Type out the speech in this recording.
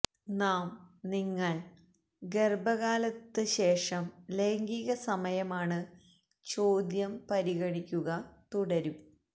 നാം നിങ്ങൾ ഗർഭകാലത്ത് ശേഷം ലൈംഗിക സമയമാണ് ചോദ്യം പരിഗണിക്കുക തുടരും